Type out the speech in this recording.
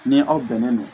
Ni aw bɛnnen don